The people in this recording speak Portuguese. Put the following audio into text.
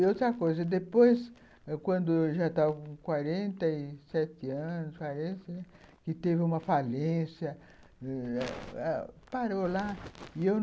E outra coisa, depois, quando eu já estava com quarenta e sete anos, parece, que teve uma falência, parou lá. E eu